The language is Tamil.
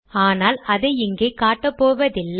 ஆனால் அதை இங்கே காட்டப் போவதில்லை